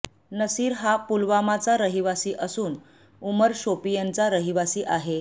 नसीर हा पुलवामाचा रहिवासी असून उमर शोपियनचा रहिवासी आहे